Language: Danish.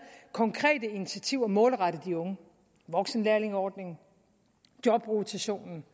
konkrete initiativer målrettet de unge voksenlærlingeordningen jobrotationen